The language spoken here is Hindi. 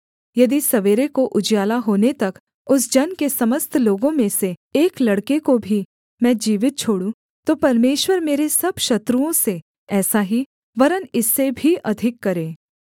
यदि सवेरे को उजियाला होने तक उस जन के समस्त लोगों में से एक लड़के को भी मैं जीवित छोड़ूं तो परमेश्वर मेरे सब शत्रुओं से ऐसा ही वरन् इससे भी अधिक करे